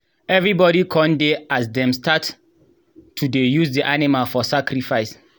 everybody con dey as dem start to dey use the animal for sacrifice.